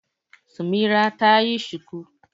Samira ta yi shuku.